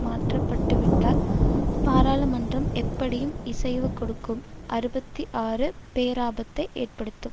மாற்றப்பட்டுவிட்டால் பாராளுமன்றம் எப்படியும் இசைவு கொடுக்கும் அறுபத்தி ஆறு பேராபத்தை ஏற்படுத்தும்